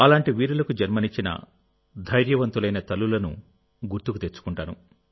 అలాంటి వీరులకు జన్మనిచ్చిన ధైర్యవంతులైన తల్లులను గుర్తుకు తెచ్చుకుంటాను